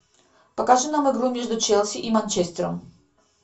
покажи нам игру между челси и манчестером